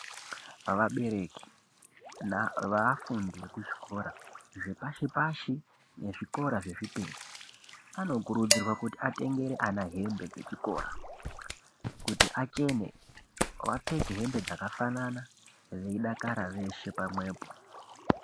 Vabereke veafundi ekuchikora zvepashi pashi nezvikora zvezvipiri anokurudzirwa kuti atengere ana dzechikora kuti achene vapfeke hembe dzakafanana veidakara veshe pamwepo.